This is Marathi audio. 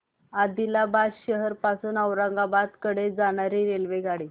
आदिलाबाद शहर पासून औरंगाबाद कडे जाणारी रेल्वेगाडी